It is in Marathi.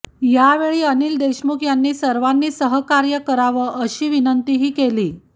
यावेळी अनिल देशमुख यांनी सर्वांनी सहकार्य करावं अशी विनंतीही केली